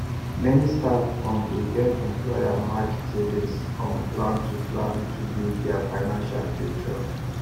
many staff um dey join employermatched savings um plan to plan to build their financial future